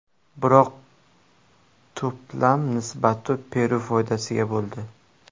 Biroq to‘plar nisbati Peru foydasiga bo‘ldi.